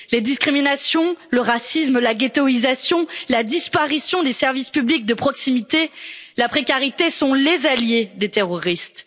Les discriminations, le racisme, la ghettoïsation, la disparition des services publics de proximité, la précarité, sont les alliés des terroristes.